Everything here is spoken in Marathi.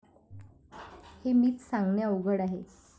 हे मीच सांगणे अवघड आहे.